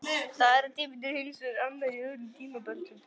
Staðartíminn er hins vegar annar í öðrum tímabeltum.